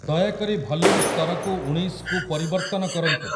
ଦୟାକରି ଭଲ୍ୟୁମ୍ ସ୍ତରକୁ ଊଣେଇଶକୁ ପରିବର୍ତ୍ତନ କରନ୍ତୁ